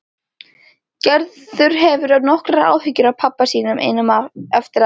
Gerður hefur nokkrar áhyggjur af pabba sínum einum eftir að